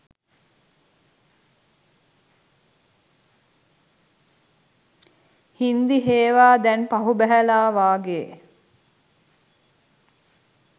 හින්දි හේවා දැන් පහු බැහැල වගේ